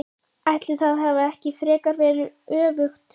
Ætli það hafi ekki frekar verið öfugt!